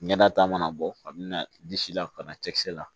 Ɲɛnata mana bɔ ka mina disi la ka na cɛkisɛ la